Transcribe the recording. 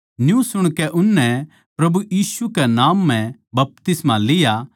न्यू सुणकै उननै प्रभु यीशु कै नाम म्ह बपतिस्मा लिया